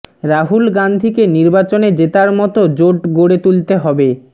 রাহুল গান্ধীকে নির্বাচনে জেতার মত জোট গড়ে তুলতে হবে